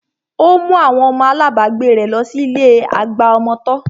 Ó mú àwọn ọmọ alábagbé rẹ̀ lọ sí ilé àgbà ọmọ tọ́